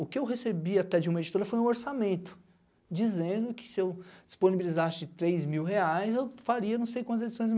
O que eu recebi até de uma editora foi um orçamento, dizendo que se eu disponibilizasse três mil reais, eu faria não sei quantas edições.